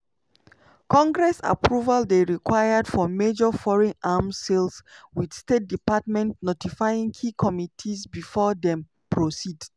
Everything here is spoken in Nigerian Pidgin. congress approval dey required for major foreign arms sales wit state department notifying key committees before dem proceed.